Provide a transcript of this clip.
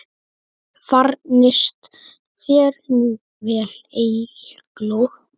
Farnist þér nú vel, Eygló.